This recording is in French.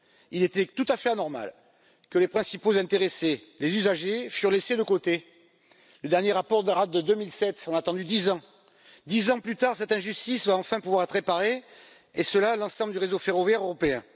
Il était tout à fait anormal que les principaux intéressés, les usagers, soient laissés de côté. Le dernier rapport date de 2007, on a attendu dix ans! Dix ans plus tard, cette injustice va enfin pouvoir être réparée, et ce sur l'ensemble du réseau ferroviaire européen.